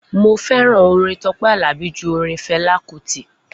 Mo fẹ́ràn orin Tọpẹ Alabi ju orin Fẹla Kuti